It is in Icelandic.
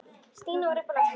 Stína var uppi á lofti.